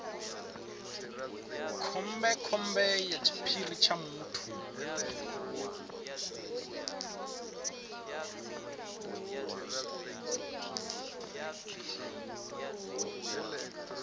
khombekhombe ya tshiphiri tsha muthu